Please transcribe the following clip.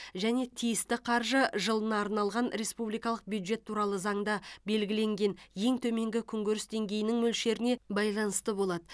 және тиісті қаржы жылына арналған республикалық бюджет туралы заңда белгіленген ең төменгі күнкөріс деңгейінің мөлшеріне байланысты болады